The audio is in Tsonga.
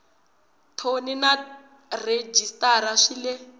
thoni na rhejisitara swi le